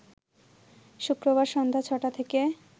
শুক্রবার সন্ধ্যা ছ’টা থেকে